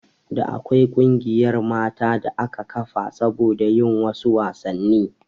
Da akwai ƙungiyar mata da aka kafa saboda yin wasu wasanni